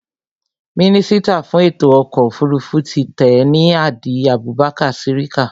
Mínísítà fún ètò ọkọ̀ òfurufú ti tẹ́ẹ̀ ni Hadi Abubakar Sirika